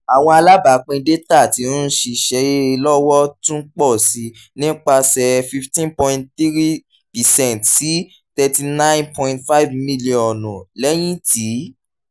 awọn alabapin data ti nṣiṣe lọwọ tun pọ si nipasẹ fifteen point three percent si thirty nine point five milionu lẹhin ti